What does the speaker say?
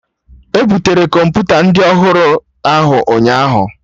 E butere Kọmputa ndị ọhụrụ ahụ ụnyaahụ